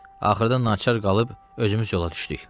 Axırda naçar qalıb özümüz yola düşdük.